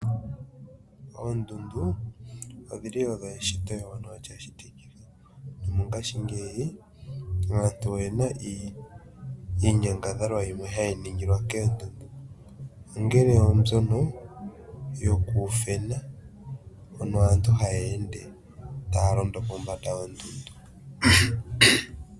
Oondundu odhili odho eshito ewanawa nomongashingeyi aantu oye na iinyangadhalwa yimwe ha yi ningilwa koondundu, ongele oombyono yo ku ufena nenge oku idhewula mono aantu ha ya ende ta ya londo pombanda yondundu.